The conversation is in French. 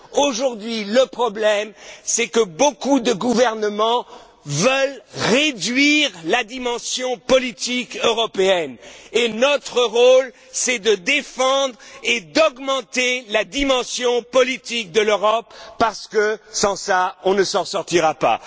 Aujourd'hui, le problème est que beaucoup de gouvernements veulent réduire la dimension politique européenne, et notre rôle est de défendre et d'augmenter la dimension politique de l'Europe parce que, sans ça, on ne s'en sortira